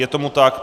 Je tomu tak.